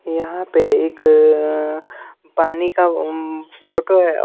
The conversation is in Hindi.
यहाँ पे एक पानी का फोटो है।